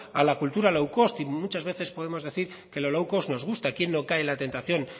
a la cultura low cost y muchas de veces podemos decir que lo low cost nos gusta quién no cae en la tentación